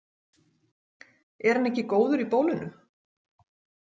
Er hann ekki góður í bólinu?